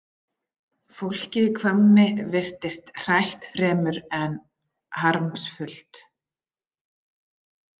Fólkið í Hvammi virtist hrætt fremur en harmsfullt.